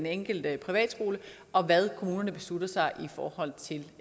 enkelte privatskole og hvad kommunerne beslutter sig for